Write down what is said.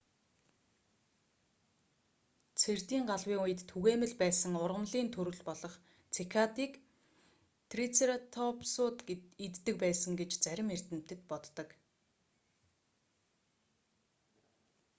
цэрдийн галавын үед түгээмэл байсан ургамлын төрөл болох цикадыг трицератопсууд иддэг байсан гэж зарим эрдэмтэд боддог